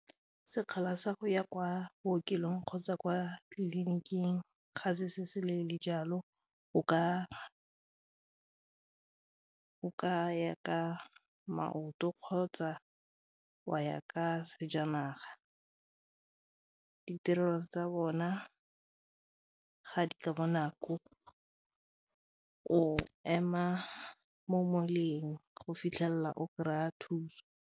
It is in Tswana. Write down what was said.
Sekgala sa go ya kwa bookelong kgotsa kwa tleliniking ga se se se leele jalo o ka ya ka maoto kgotsa wa ya ka ka sejanaga ditirelo tsa bona ga di ka bonako o ema mo moleng go fitlhelela o kry-a thuso.